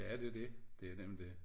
Ja det det det nemlig det